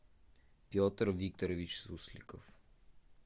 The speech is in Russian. петр викторович сусликов